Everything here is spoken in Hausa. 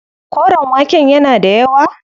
Koren waken yana da yawa.